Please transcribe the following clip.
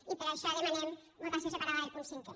i per això demanem votació separada del punt cinquè